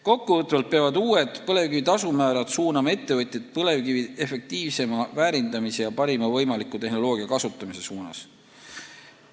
Kokkuvõtvalt peavad uued põlevkivi kaevandamise tasumäärad suunama ettevõtjaid põlevkivi efektiivsema väärindamise ja parima võimaliku tehnoloogia kasutamise suunas.